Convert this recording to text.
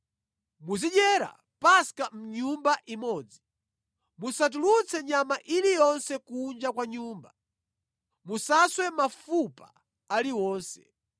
“Muzidyera Paska mʼnyumba imodzi. Musatulutse nyama iliyonse kunja kwa nyumba. Musaswe mafupa aliwonse.